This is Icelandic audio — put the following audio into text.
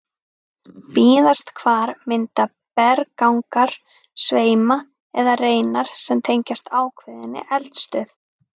Víðast hvar mynda berggangar sveima eða reinar sem tengjast ákveðinni eldstöð.